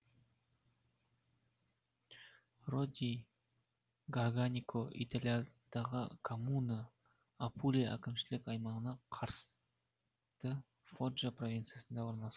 роди гарганико италиядағы коммуна апулия әкімшілік аймағына қарасты фоджа провинциясында орналасқан